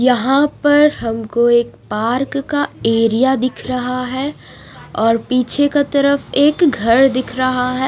यहाँ पर हमको एक पार्क का एरिया दिख रहा है और पीछे की तरफ एक घर दिख रहा है।